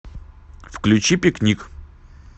включи пикник